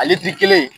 Ale di kelen